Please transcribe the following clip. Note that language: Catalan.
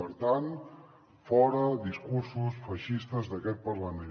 per tant fora discursos feixistes d’aquest parlament